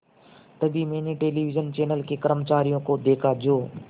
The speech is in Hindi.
तभी मैंने टेलिविज़न चैनल के कर्मचारियों को देखा जो